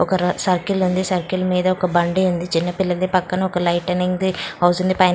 ఒక సర్కిల్ ఉంది సర్కిల్ మీద ఒక బండి ఉంది చిన్నపిల్లది పక్కన ఒక లైటింగ్ హౌస్ ఉంది.